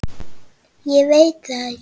Ég veit það ekki!